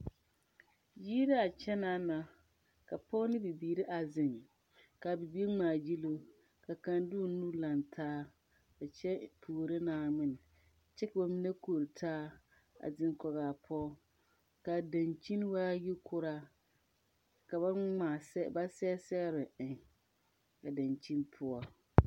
Yiri la a kyɛnaa na ka Pɔge ne bibiiri a zeŋ kaa bibiiri ŋmaa gyile ka kaŋ de o nuure laŋ taa a kyɛ puoro Naawmin kyɛ ka ba mine kori taa a biŋ kɔge a pɔge ,kaa dankyini waa yikɔra ka ba ŋmaa ba sɛge sɔgre eŋ a dankyini poɔ.